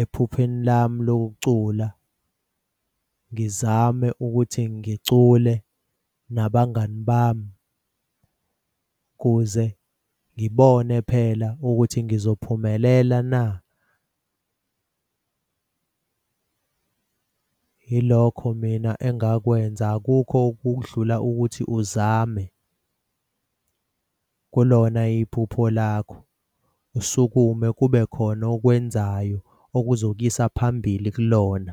ephupheni lami lokucula, ngizame ukuthi ngicule nabangani bami ukuze ngibone phela ukuthi ngizophumelela na. Yilokho mina engakwenza akukho okudlula ukuthi uzame kulona iphupho lakho usukume kube khona okwenzayo okuzokuyisa phambili kulona.